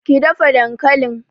ki dafa dankalin!